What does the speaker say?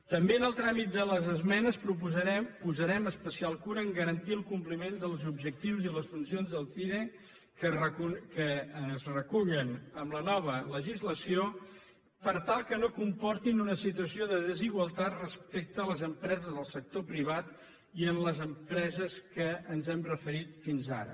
també en el tràmit de les esmenes posarem especial cura a garantir el compliment dels objectius i les funcions del cire que es recullen en la nova legislació per tal que no comportin una situació de desigualtat respecte a les empreses del sector privat i a les empreses a què ens hem referit fins ara